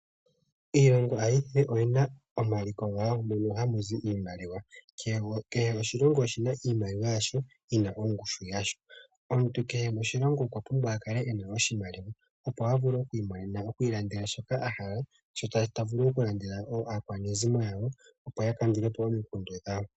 Iilongo ayihe oyina omaliko gawo mono hamuzi iimaliwa. Kehe oshilongo oshina iimaliwa yasho yina ongushu yasho. Omuntu kehe moshilongo okwa pumbwa oku kala ena iimaliwa opo a vule oku ilandela shoka ahala. Ta vulu wo oku landela aakwanezimo yawo opo ya kandulepo omikundu dhawo.